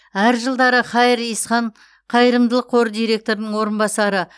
әр жылдары хаир ихсан қайырымдылық қоры директорының орынбасары